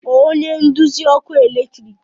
kpọọ onye nduzi ọkụ eletrik